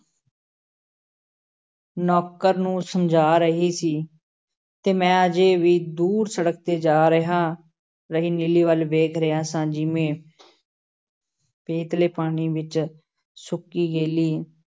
ਨੌਕਰ ਨੂੰ ਸਮਝਾ ਰਹੀ ਸੀ, ਤੇ ਮੈਂ ਅਜੇ ਵੀ ਦੂਰ ਸੜਕ 'ਤੇ ਜਾ ਰਿਹਾ, ਰਹੀ ਨੀਲੀ ਵੱਲ ਵੇਖ ਰਿਹਾ ਸਾਂ, ਜਿਵੇਂ ਪੇਤਲੇ ਪਾਣੀ ਵਿੱਚ ਸੁੱਕੀ ਗੇਲੀ